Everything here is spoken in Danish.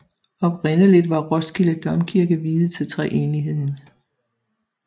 Oprindeligt var Roskilde Domkirke viet til treenigheden